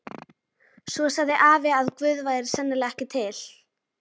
Svo sagði afi að Guð væri sennilega ekki til.